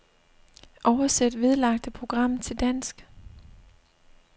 Oversæt vedlagte program til dansk.